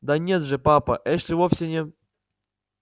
да нет же папа эшли вовсе не